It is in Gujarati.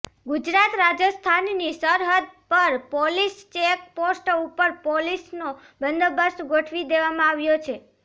ગુજરાત રાજસ્થાનની સરહદ પર પોલીસ ચેક પોસ્ટ ઉપર પોલીસનો બંદોબસ્ત ગોઠવી દેવામાં આવ્યો છે